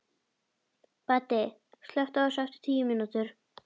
Baddi, slökktu á þessu eftir tíu mínútur.